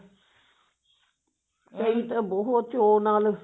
ਕਈ ਤਾਂ ਬਹੁਤ ਚੋ ਨਾਲ